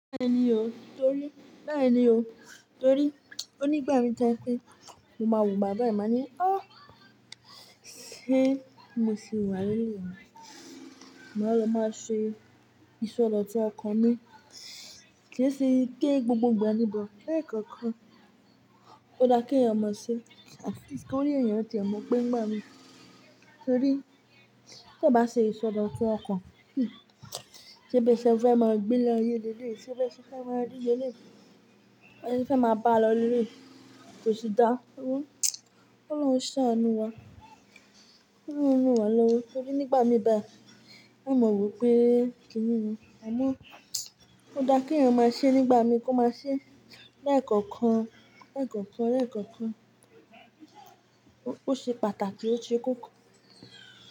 Bẹ́ẹ̀ ni o, torí bẹ́ẹ̀ ni o, torí o nígbà mi ti o je pé mo máa wo bàbá yìi má ní, ọ́ sé mo sì wà nílu mi máa lọ máa ṣe ìsọdọ̀tún ọkan mi, kì í ṣe pe gbogbo ìgbà ni but, lẹ́ẹ̀kọ̀kan ó dá kí èèyàn máa ṣe, at least kí órí èèyàn ti e maa pé ńi gbà mí. Torí tí a bá ṣe ìsọdọ̀tún ọkan, hmmm, se bí ó bá ṣe fe máa gbé e lọ ilé leleyi, tí ó bá ṣe fe máa rí ilé le, tí ó bá ṣe fe máa bá a lọ leleyi kò sì dá, kolọ́ún ṣánú wa, kolọ́ún ran wa lọ́wọ. Torí nígbà mi bá, a mọ̀ wípé kí ni, àmọ́ ó dá kí èèyàn máa ṣe nígbà mi kó máa ṣe lẹ́ẹ̀kọ̀kan, lẹ́ẹ̀kọ̀kan, lẹ́ẹ̀kọ̀kan ó ṣe pàtàkì, ó ṣe kókó.